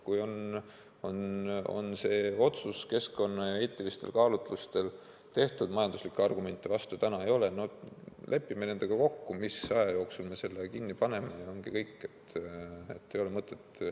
Kui on see otsus keskkonna- ja eetilistel kaalutlustel tehtud, kui majanduslikke vastuargumente ei ole, siis lepime nendega kokku, mis aja jooksul me selle sektori kinni paneme, ja ongi kõik.